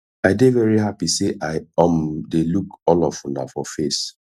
i dey very happy say i um dey look all of una for face